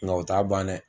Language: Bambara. Nka o t'a ban dɛ